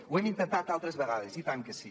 ho hem intentat altres vegades i tant que sí